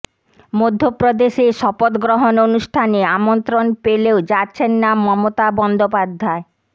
মধ্যপ্রদেশে শপথগ্রহণ অনুষ্ঠানে আমন্ত্রণ পেলেও যাচ্ছেন না মমতা বন্দ্যোপাধ্যায়